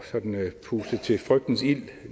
sådan at puste til frygtens ild